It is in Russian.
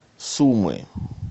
сумы